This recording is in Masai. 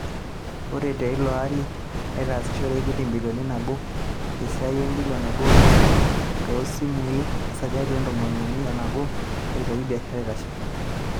Ore teilo ari netasishore Equity embilion nabo te siaai embilion nabo o nusu too simui esajati e ntomoni uni o nabo peretoki biashara eitashe.